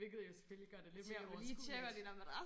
Hvilket jo selvfølgelig gør det lidt mere overskueligt